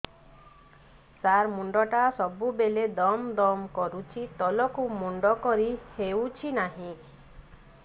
ସାର ମୁଣ୍ଡ ଟା ସବୁ ବେଳେ ଦମ ଦମ କରୁଛି ତଳକୁ ମୁଣ୍ଡ କରି ହେଉଛି ନାହିଁ